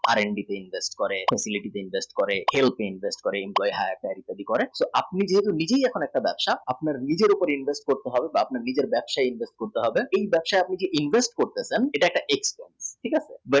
R and D তে invest করে shipping এ invest করে employee hire এ করে আপনি যখন নিজে একটা ব্যবসা এই ব্যবসাই invest করতে হবে এই ব্যবসাই আপনি যে invest করতে চান এটা একটা FD